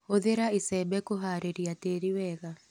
Hũthĩra icembe kũharĩria tĩri wega.